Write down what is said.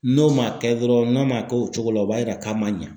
N'o ma kɛ dɔrɔn n'a ma kɛ o cogo la o b'a yira k'a ma ɲa.